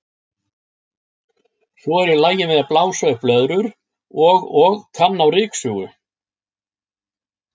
Svo er ég lagin við að blása upp blöðrur og og kann á ryksugu.